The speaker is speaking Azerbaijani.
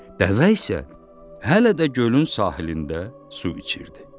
Dəvə isə hələ də gölün sahilində su içirdi.